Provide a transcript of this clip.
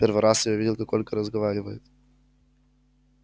первый раз я увидел как ольга разговаривает